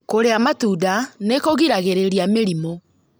Kũrĩa matunda nĩ kũgiragĩrĩria mĩrimũ